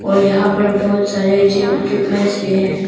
और यहां पर बहुत सारे जिम इक्विपमेंट्स भी है।